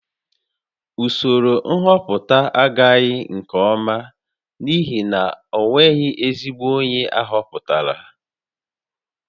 Usoro nhọpụta ahaghị nke ọma n'ihi na o nweghị ezigbo onye a họpụtara